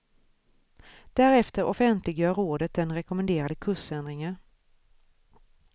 Därefter offentliggör rådet den rekommenderade kursändringen.